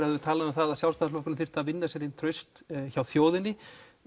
hafi talað um að Sjálfstæðisflokkurinn þyrfti að vinna sér inn traust hjá þjóðinni